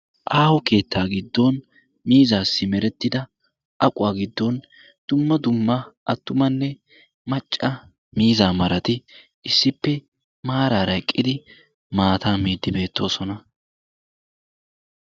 aaho keettaa giddon miizaassi merettida aquwaa giddon dumma dumma attumanne macca miizaa marati issippe maaraara eqqidi maata miiddi beettoosona.